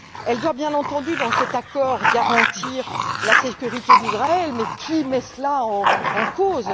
Elle doit, bien entendu, dans cet accord garantir la sécurité d'Israël mais qui met cela en cause?